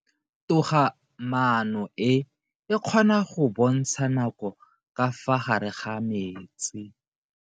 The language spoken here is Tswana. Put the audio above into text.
Toga-maano e, e kgona go bontsha nako ka fa gare ga metsi.